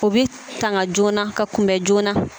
O bɛ tanga joona ka kunbɛn joona